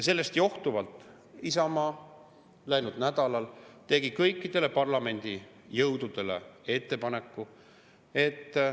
Sellest johtuvalt Isamaa läinud nädalal tegi kõikidele parlamendijõududele ettepaneku.